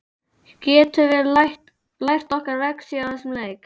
Getum við lært okkar lexíu á þessum leik?